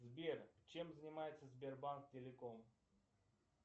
сбер чем занимается сбербанк телеком